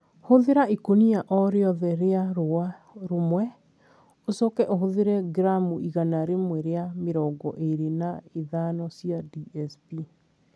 Hũthĩra ikũnia o rĩothe rĩa rũũa rũmwe, ũcoke ũhũthĩre gramu igana rĩmwe rĩa mĩrongo ĩrĩ na ithano cia DSP.